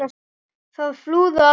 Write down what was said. Það flúðu allir.